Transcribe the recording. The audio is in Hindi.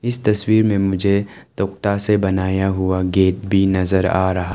इस तस्वीर में मुझे तख्ता से बनाया हुआ गेट भी नजर आ रहा--